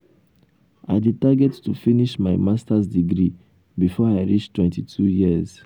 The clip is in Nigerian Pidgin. i dey target to finish my masters degree before i reach 22 years.